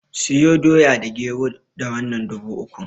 Siyo Doya da Gero da wannan dubu ukun.